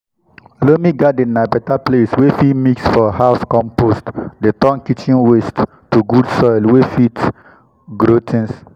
loamy garden na beta place wey fit mix for house compost dey turn kitchen waste to good soil wey fit grow things. um